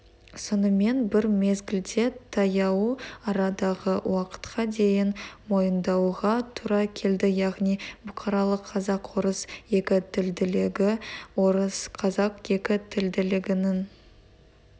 сонымен бір мезгілде таяу арадағы уақытқа дейін мойындауға тура келді яғни бұқаралық қазақ-орыс екі тілділігі орыс-қазақ екі тілділігінің